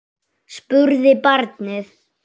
spurði barnið.